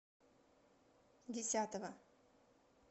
десятова